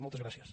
moltes gràcies